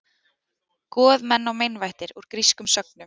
Goð, menn og meinvættir: Úr grískum sögnum.